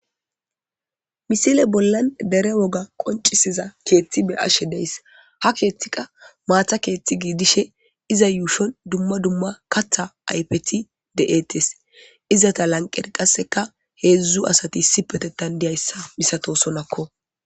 Misile bollan dere woga qonccisiza keeththi be7ashe deys. Ha keeththi qa maatha keeththi giidishe iza yuushon dumma dumma katha ayethi de7eetes. Izata lanqera qasseka heezu asati issipetetan diyayssa misatoosonakko.